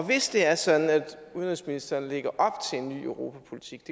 hvis det er sådan at udenrigsministeren lægger op til en ny europapolitik